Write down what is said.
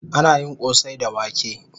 Ana yin kosai da wake